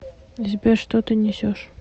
сбер что ты несешь